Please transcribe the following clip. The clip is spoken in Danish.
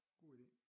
God idé